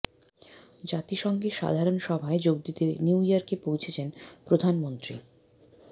জাতিসংঘের সাধারণ সভায় যোগ দিতে নিউ ইয়র্কে পৌঁছেছেন প্রধানমন্ত্রী